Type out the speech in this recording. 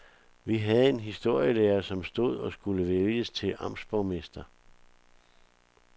Vi havde en historielærer, som stod og skulle vælges til amtsborgmester.